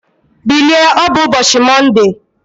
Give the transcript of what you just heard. Bilie, ọ bụ ụbọchị Mọnde!